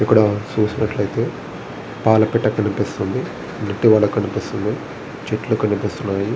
ఇక్కడ చూసినట్లయితే పాలపిట్ట కనిపిస్తుంది కనిపిస్తుంది. చెట్లు కనిపిస్తున్నాయి.